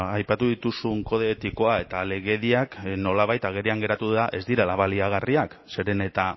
aipatu dituzun kode etikoa eta legediak nolabait agerian geratu da ez direla baliagarriak zeren eta